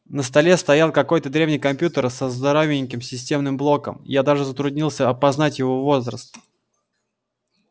на столе стоял какой-то древний компьютер со здоровеньким системным блоком я даже затруднился опознать его возраст